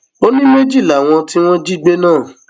ó ní méjì làwọn tí wọn jí gbé náà